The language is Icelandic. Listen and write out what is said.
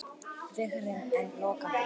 Vegurinn enn lokaður